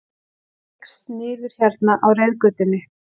Hneigst niður hérna á reiðgötunni.